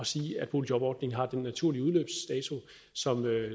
sige at boligjobordningen har den naturlige udløbsdato som vi